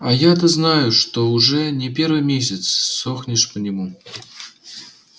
а я-то знаю что уже не первый месяц сохнешь по нему